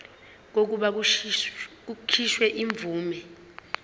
kokuba kukhishwe imvume